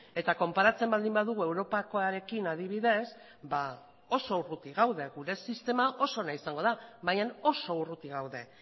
eta konparatzen baldin badugu europakoarekin adibidez oso urruti gaude gure sistema oso ona izango da baina oso urruti gaude